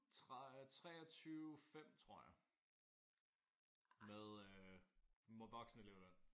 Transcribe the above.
23 5 tror jeg med øh voksenelevløn